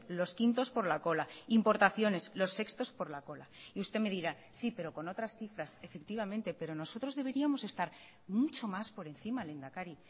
los quintos por la cola importaciones los sextos por la cola y usted me dirá sí pero con otras cifras efectivamente pero nosotros deberíamos estar mucho más por encima lehendakari